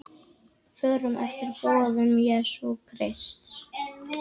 Förum eftir boðum Jesú Krists.